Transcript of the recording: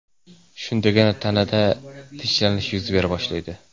Shundagina tanada tinchlanish yuz bera boshlaydi.